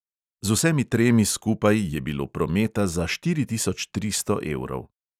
Z vsemi tremi skupaj je bilo prometa za štiri tisoč tristo evrov.